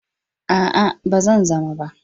A'a, ba zan zama ba.